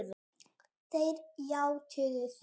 Þeir játuðu því.